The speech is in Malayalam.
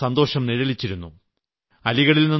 അവരുടെ മുഖത്ത് സന്തോഷം നിഴലിച്ചിരുന്നു